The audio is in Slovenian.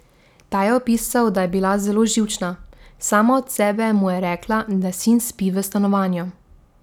Ta je opisal, da je bila zelo živčna, sama od sebe mu je rekla, da sin spi v stanovanju.